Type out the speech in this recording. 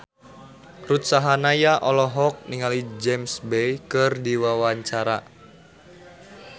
Ruth Sahanaya olohok ningali James Bay keur diwawancara